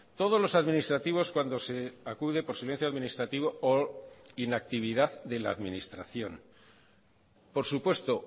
todos los administrativos cuando se acude por silencio administrativo o inactividad de la administración por supuesto